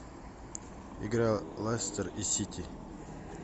игра лестер и сити